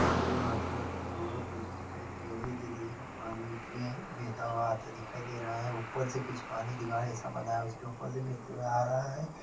नदी मे आते व्यक्त दो दिखाई दे रहे है जिधर एक पानी मे हैबहता व आता दिखाई दे रहा हैं ऊपर से कुछ पानी दीवार जैसा बंधा है उसके ऊपर से बहते हुए आ रहा है।